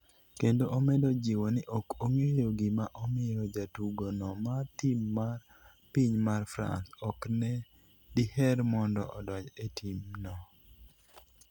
kendo omedo jiwo ni ok ong'eyo gima omiyo jatugo no mar tim mar piny mar France ok ne diher mondo odonj e tim no